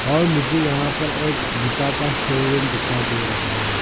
और मुझे यहां पर एक जूता का शोरूम दिखाई दे रहा है।